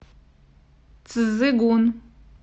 цзыгун